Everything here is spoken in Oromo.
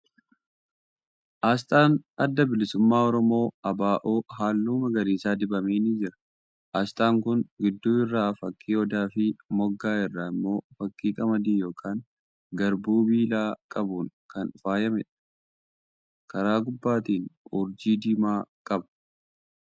Asxaan Adda Bilisummaa Oromoo (ABO) halluu magariisa dibame ni jira. Asxaan kun gidduu irraa fakkii odaa fi moggaa irraa immoo fakkii qamadii yookan garbuu biillaa qabuun kan faayameedha. Karaa gubbaatiin urjii diimaa qaba.